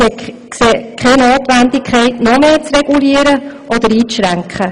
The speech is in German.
Wir sehen keine Notwendigkeit, noch mehr zu regulieren oder einzuschränken.